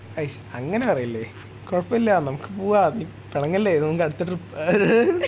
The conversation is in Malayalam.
അയ്ശ്.. അങ്ങനെ പറയല്ലേ കുഴപ്പമില്ല നമുക്ക് പോവാം നീ പിണങ്ങല്ലേ നമുക്ക് അടുത്ത ട്രിപ്പ് അഹ് രഹ് രഹ്